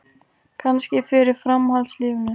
Kannski fyrir framhaldslífinu.